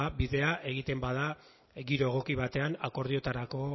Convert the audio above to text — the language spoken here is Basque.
bidea egiten bada giro egoki batean akordioetarako